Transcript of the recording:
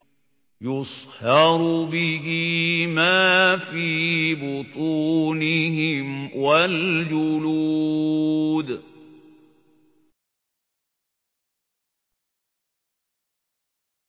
يُصْهَرُ بِهِ مَا فِي بُطُونِهِمْ وَالْجُلُودُ